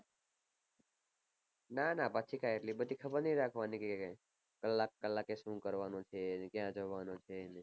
ના ના પછી કાંય એટલી બઘી ખબર ની રાખવાની કે કલાક કલાકે શું કરવાનું છે ક્યાં જવાનું છે